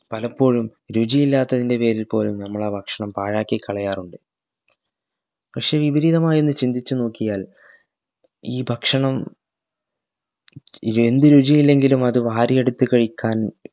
പലപ്പോഴും രുചിയില്ലാത്തതിന്റെ പേരിൽ പോലും നമ്മൾ ആ ഭക്ഷണം പാഴാക്കികളയാറുണ്ട് പശ്ശെ വിപരീതമായൊന്നു ചിന്തിച് നോക്കിയാൽ ഈ ഭക്ഷണം ഇവയെന്തു രുചിയില്ലെങ്കിലും അത് വാരിയെടുത്തു കഴിക്കാൻ